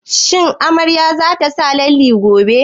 Shin amaryar za ta sa lalle gobe?